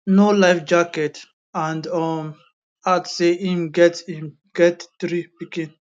no life jacket and um add say im get im get three pikin